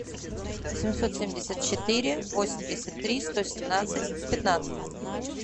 семьсот семьдесят четыре восемьдесят три сто семнадцать пятнадцать